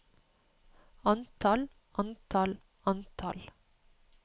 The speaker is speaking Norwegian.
antall antall antall